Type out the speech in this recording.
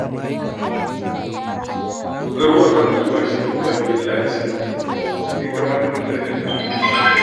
Dogaro a kan albashi babbar illa ce da ya kamata mutane su gujewa.